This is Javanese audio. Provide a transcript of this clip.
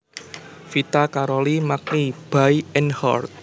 Vita Karoli Magni by Einhard